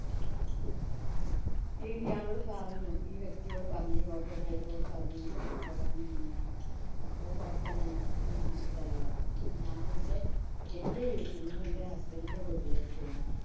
ഈ ഇയാളോട് പറഞ്ഞു. ഈ വ്യക്തിയോട് പറഞ്ഞു'. ഈ auto driver ഓട് പറഞ്ഞു. എനിക്ക് ഇങ്ങനെ corona ആണെന്ന്. അപ്പൊ കൊഴപ്പ ഇല്ല നമുക്ക് ഞാന്‍ ആക്കി തര പറഞ്ഞു. അങ്ങനെ ഞാനെന്‍റെ വീട്ടിന്ന് ഞാനെന്‍റെ husband ന്‍റെ വീട്ടിലേക്ക് പോന്നു.